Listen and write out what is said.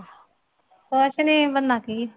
ਕੁਛ ਨੀ ਬਣਨਾ ਕੀ ਹੈ